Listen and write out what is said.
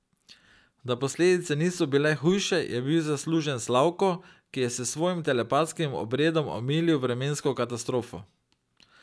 Da posledice niso bile hujše, je bil zaslužen Slavko, ki je s svojim telepatskim obredom omilil vremensko katastrofo.